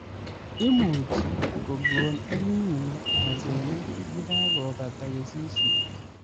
Imuchi kokon EL Nino asenet yekakobata kesishet